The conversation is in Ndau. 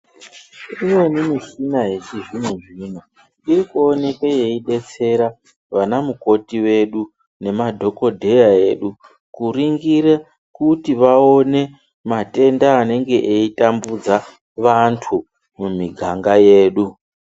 Imweni michina yechizvino zvino iri kuonekwe yeidetsera vana mukoti vedu nemadhokodheya edu kuringira kuti vaone matenda anenge eitambudza vanthu mumiganga yedu.